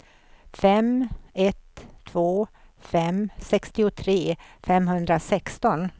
fem ett två fem sextiotre femhundrasexton